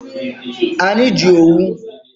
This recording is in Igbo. Anyị ji owu.